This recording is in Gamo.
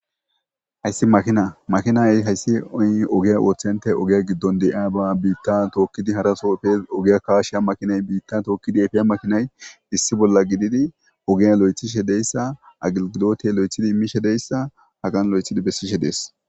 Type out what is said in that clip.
Haysi makina makinay haysi oge bitta tokidi harso epes ohiya kashiya makinay bitta tokidi epiya makinay issi bolla gidifi ogiya loythishe dizaysa agilgilote loythi immishe dizaysa Hagan loythidi besidhe dees